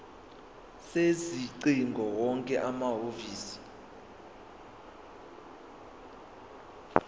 sezingcingo wonke amahhovisi